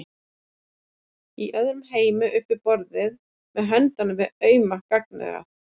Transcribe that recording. Í öðrum heimi upp við borðið með hönd við auma gagnaugað.